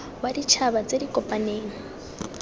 wa ditšhaba tse di kopaneng